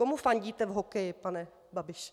Komu fandíte v hokeji, pane Babiši?